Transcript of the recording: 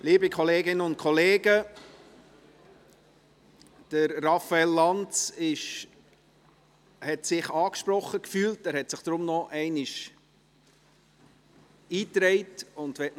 Liebe Kolleginnen und Kollegen, Raphael Lanz hat sich angesprochen gefühlt und hat sich deshalb noch einmal in die Rednerliste eingetragen.